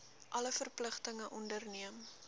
alle verpligtinge onderneem